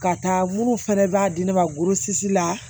Ka taa minnu fɛnɛ b'a di ne ma la